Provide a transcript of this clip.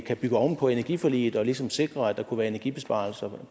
kan bygge oven på energiforliget og ligesom sikre at der kunne være energibesparelser